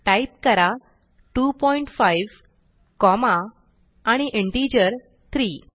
type करा 25 comma आणि integer 3